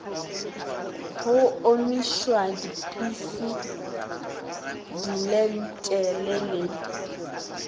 go omišwa diphisi dilenthele le